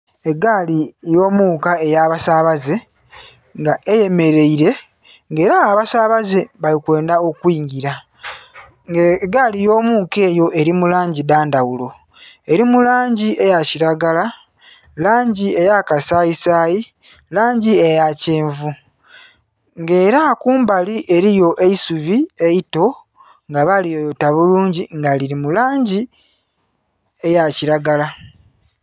Egaali eyomuka eyabasabaze nga eyemereire nga era abasabaze bali kwendha okwingila, nga egaali eyomuka eyo eri mulangi dhandhaghulo eri mulangi eya kilagala, langi eya kasayi sayi, langi eya kyenvu nga era kumbali eriyo eisubi eito nga baliyoyota bulungi nga liri mulangi eya kilagala.